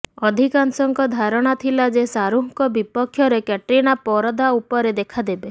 ଅଧିକାଂଶଙ୍କ ଧାରଣା ଥିଲା ଯେ ଶାହରୁଖଙ୍କ ବିପକ୍ଷରେ କ୍ୟାଟ୍ରିନା ପରଦା ଉପରେ ଦେଖାଦେବେ